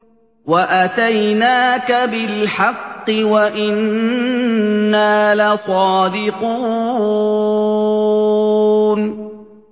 وَأَتَيْنَاكَ بِالْحَقِّ وَإِنَّا لَصَادِقُونَ